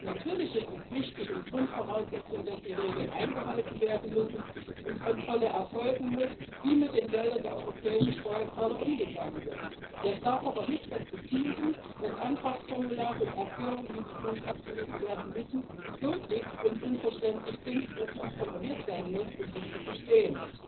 Natürlich ist es wichtig und Grundvoraussetzung, dass die Regeln eingehalten werden und eine Kontrolle erfolgt, wie mit dem Geld der europäischen Steuerzahler umgegangen wird. Das darf aber nicht dazu führen, dass Antragsformulare und die Erklärung, wie die Fonds abgerufen werden müssen, so dick und unverständlich sind, dass man promoviert haben muss, um sie zu verstehen.